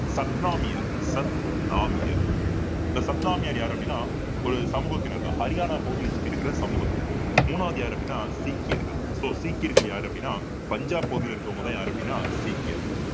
சத்னாமியர் சத்னாமியர் இந்த சத்னாமியர் யாரு அப்படின்னா ஒரு சமூகத்தினர்தான் ஹரியானா பகுதியை சுத்தி இருக்கிற சமூகத்தினர் மூணாவது யாரு அப்படின்னா சீக்கியர்கள் so சீக்கியர்கள் யாரு அப்படின்னா பஞ்சாப் பகுதியில இருக்கிறவங்கதான் யாரு அப்படின்னா சீக்கியர்கள்